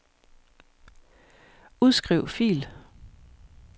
Udskriv fil.